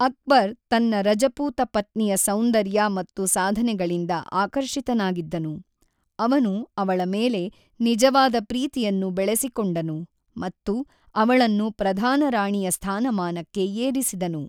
ಅಕ್ಬರ್ ತನ್ನ ರಜಪೂತ ಪತ್ನಿಯ ಸೌಂದರ್ಯ ಮತ್ತು ಸಾಧನೆಗಳಿಂದ ಆಕರ್ಷಿತನಾಗಿದ್ದನು; ಅವನು ಅವಳ ಮೇಲೆ ನಿಜವಾದ ಪ್ರೀತಿಯನ್ನು ಬೆಳೆಸಿಕೊಂಡನು ಮತ್ತು ಅವಳನ್ನು ಪ್ರಧಾನ ರಾಣಿಯ ಸ್ಥಾನಮಾನಕ್ಕೆ ಏರಿಸಿದನು.